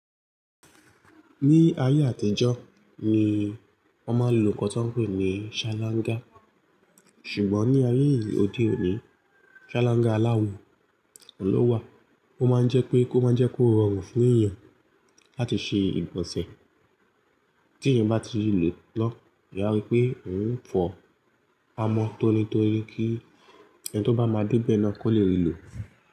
Ní ayé àtijọ́ ni wọ́n máa ń lo nǹkan tí wọ́n ń pè ní ṣálángá, ṣùgbọ́n ní ayé òde òní ṣálángá aláwọ̀ ló wà, ó máa ń jẹ́ pé kó máa jẹ́ kó rọrùn fún èèyàn láti ṣe ìgbọ̀nsẹ̀ tí èyàn bá ti lò ó lọ́wọ́. Èyàn a rí pé òun fọ amọ́ tónítóni kí ẹni tó bá máa débẹ̀ ẹ́ náà kó lè lòó.